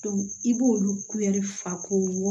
i b'olu fa ko